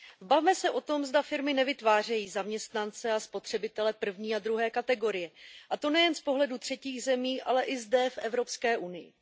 Bavme se tom, zda firmy nevytvářejí zaměstnance a spotřebitele první a druhé kategorie, a to nejen z pohledu třetích zemí, ale i zde, v Evropské unii.